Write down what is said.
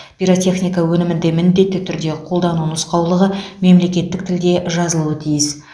пиротехника өнімінде міндетті түрде қолдану нұсқаулығы мемлекеттік тілде жазылуы тиіс